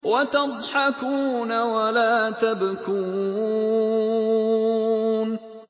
وَتَضْحَكُونَ وَلَا تَبْكُونَ